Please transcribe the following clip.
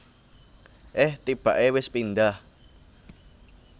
Eh tibake wis pindah